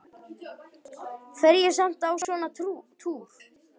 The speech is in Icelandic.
Fer ég samt á svona túr?